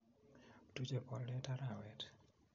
Tuchei boldet arawet